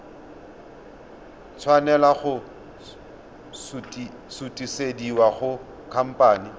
tshwanela go sutisediwa go khamphane